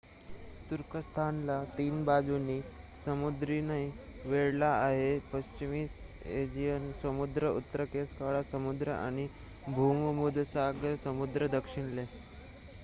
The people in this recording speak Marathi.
तुर्कस्थान ला 3 बाजूनी समुद्रांनी वेढले आहे पश्चिमेस एजियन समुद्र उत्तरेस काळा समुद्र आणि भूमध्य सागर समुद्र दक्षिणेला